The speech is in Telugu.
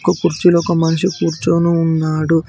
ఒక కుర్చీలో ఒక మనిషి కూర్చోని ఉన్నాడు.